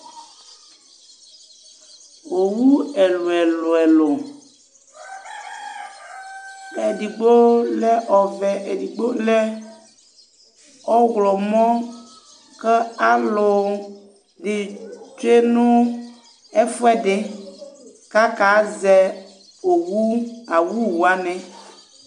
Owu ɛlʋ ɛlʋ ɛlʋ, edigbo lɛ ɔvɛ, edigbo lɛ ɔɣlɔmɔ, kʋ alu ni tsue nʋ ɛfʋɛdɩ, kʋ akazɛ owu awu wani